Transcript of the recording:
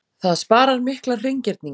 Það sparar miklar hreingerningar.